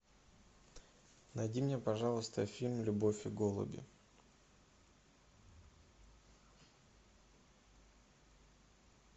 найди мне пожалуйста фильм любовь и голуби